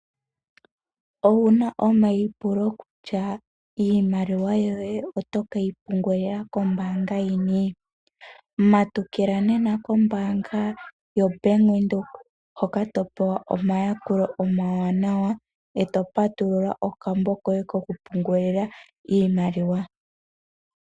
Owuna omaipulo kutya iimaliwa yoye oto keyi pungulila kombaanga yini? Matukila nena kombaanga yoBank Windhoek hoka to pewa omayakulo omawanawa eto patulula okambo koye kokupungulila iimaliwa.